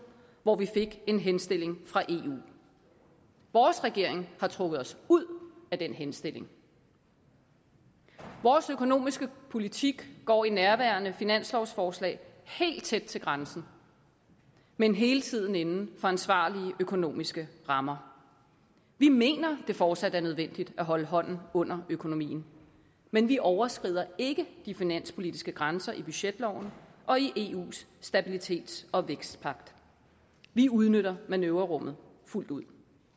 hvor vi fik en henstilling fra eu vores regering har trukket os ud af den henstilling vores økonomiske politik går i nærværende finanslovsforslag helt tæt til grænsen men hele tiden inden for ansvarlige økonomiske rammer vi mener det fortsat er nødvendigt at holde hånden under økonomien men vi overskrider ikke de finanspolitiske grænser i budgetloven og i eus stabilitets og vækstpagt vi udnytter manøvrerummet fuldt ud